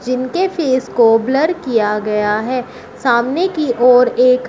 इनके फेस को ब्लर किया गया है सामने की ओर एक।